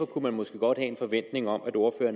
kunne man måske godt have en forventning om